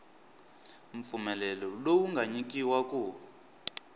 mpfumelelo lowu nga nyikiwa ku